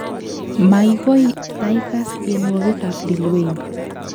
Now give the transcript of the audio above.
Magoi taikaas tienwogik ab Lil Wayne